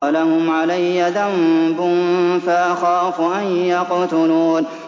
وَلَهُمْ عَلَيَّ ذَنبٌ فَأَخَافُ أَن يَقْتُلُونِ